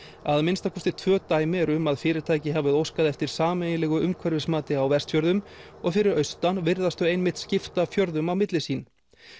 að minnsta kosti tvö dæmi eru um að fyrirtæki hafi óskað eftir sameiginlegu umhverfismati á Vestfjörðum og fyrir austan virðast þau einmitt skipta fjörðum á milli sín